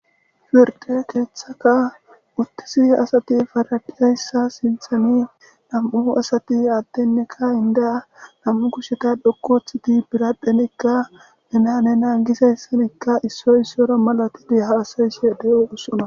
Pride kethata utize asat paradizaysa sinthan 2 asat adeneka inda 2 kusheta dhoqu othid biradhenka nena nena gizaysanka issoy isara malatid hasa'ashe de'osona.